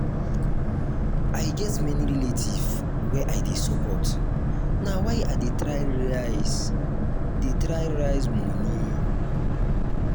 i get many relatives wey i dey support na why i dey try raise dey try raise moni.